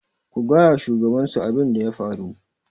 ku gaya wa shugabansu abin da ya faru?